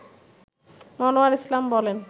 মনোয়ার ইসলাম বলেন